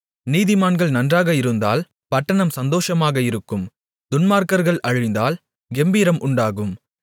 நீதிமான்கள் நன்றாக இருந்தால் பட்டணம் சந்தோஷமாக இருக்கும் துன்மார்க்கர்கள் அழிந்தால் கெம்பீரம் உண்டாகும்